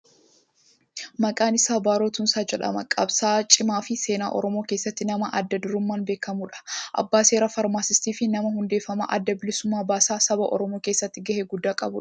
Maqaan isaa Baaroo Tumsaa jedhama. Qabsa'aa cimaa fii seenaa Oromoo keessatti nama adda durummaan beekkamnuudha. Abbaa seeraa, Faarmasistii fii nama hundeeffama adda bilisa baasaa saba Oromoo keessatti gahee guddaa qabuudha.